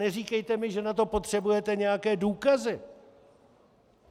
Neříkejte mi, že na to potřebujete nějaké důkazy.